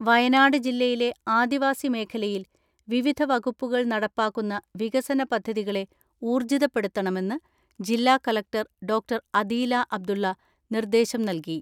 വയനാട് ജില്ലയിലെ ആദിവാസി മേഖലയിൽ വിവിധ വകുപ്പുകൾ നടപ്പാക്കുന്ന വികസന പദ്ധതികളെ ഊർജ്ജിതപ്പെടുത്തണമെന്ന് ജില്ലാ കളക്ടർ ഡോക്ടർ അദീല അബ്ദുളള നിർദ്ദേശം നൽകി.